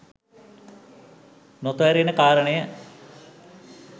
නොතේරෙන කාරණය